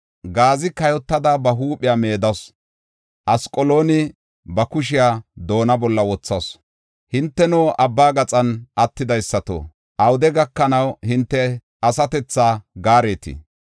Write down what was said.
Gaazi kayotada ba huuphiya meedasu; Asqalooni ba kushiya doonna bolla wothasu. Hinteno, abba gaxan attidaysato, awude gakanaw hinte asatethaa gaaretii?